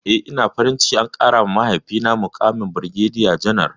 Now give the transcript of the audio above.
Eh, ina farin ciki an ƙarawa mahaifina muƙamin birgediya janar.